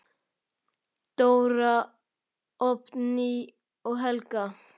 Dóra, Oddný og Helga.